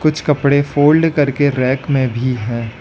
कुछ कपड़े फोल्ड करके रैक में भी है।